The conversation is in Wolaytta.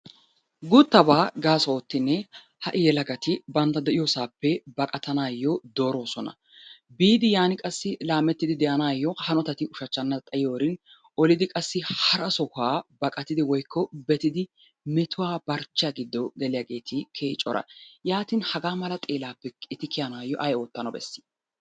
Guuttabaa gaaso oottidi ha"i yelagati bantta de'iyosaappe baqatanaayyo dooroosona. Biidi yan qassi laamettidi de'anaayyo hanotati ushachchana xayiyorin olidi qassi hara sohuwa baqatidi woykko betidi metuwa barcbchiya barchchiya giddo geliyageeti keehi cora. Yaatin hagaa mala xeelaappe eti kiyanawu ay oottana bessii?